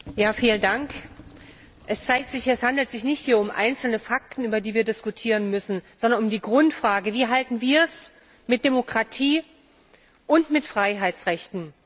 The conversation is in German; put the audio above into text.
Herr Präsident! Es zeigt sich, es handelt sich hier nicht um einzelne Fakten, über die wir diskutieren müssen, sondern um die Grundfrage Wie halten wir es mit Demokratie und mit Freiheitsrechten?